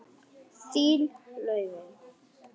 Þín, Laufey.